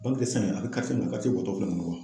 Balnki de sɛn a be karice min na o karice bɔ tɔ filɛ n kɔnɔ